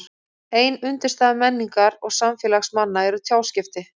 Ein undirstaða menningar og samfélags manna eru tjáskipti.